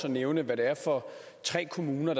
at nævne hvad det er for tre kommuner